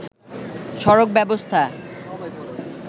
সড়ক ব্যবস্থা